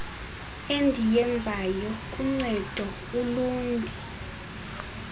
endiyenzayo kuncedo ulundi